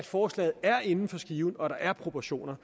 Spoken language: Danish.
forslaget er inden for skiven og der er proportioner